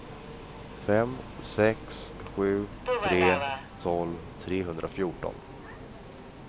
fem sex sju tre tolv trehundrafjorton